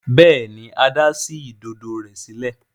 Béèni Ada sí Ìdodo rẹ sílẹ̀.